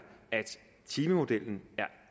at timemodellen